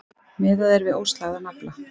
Miðað er við óslægðan afla